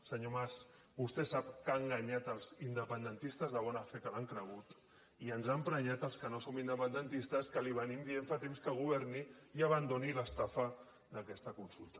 senyor mas vostè sap que ha enganyat els independentistes de bona fe que l’han cregut i ens ha emprenyat als que no som independentistes que li diem fa temps que governi i abandoni l’estafa d’aquesta consulta